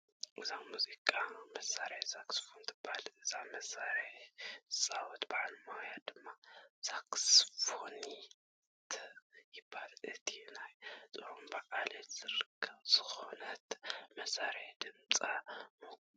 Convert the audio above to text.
እዛ ሙዚቃ መሳርሒ ሳክስፎን ትበሃል፡፡ ነዛ መሳርሒ ዝፃወት በዓል ሞያ ድማ ሳክስፎኒስት ይበሃል፡፡ እዛ ናይ ጥሩምባ ዓሌት ዝኾነት መሳርሒ ድምፃ ምቁር እዩ፡፡